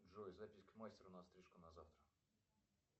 джой запись к мастеру на стрижку на завтра